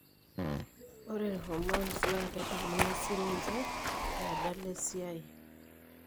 Ore irhormones naa kedamuni siininche peedala esiai.